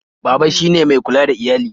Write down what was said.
Baba shi ne mai kula da iyali